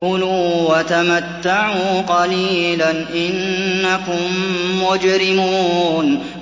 كُلُوا وَتَمَتَّعُوا قَلِيلًا إِنَّكُم مُّجْرِمُونَ